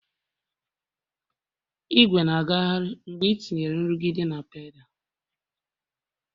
Ìgwè na-agagharị mgbe etinyere nrụgide na pedal